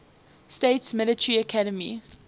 states military academy